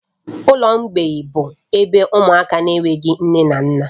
Ụlọ mgbei bụ ebe ụmụaka na-enweghị nne na nna